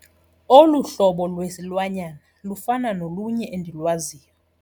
Olu hlobo lwesilwanyana lufana nolunye endilwaziyo.